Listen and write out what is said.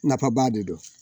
Nafaba de don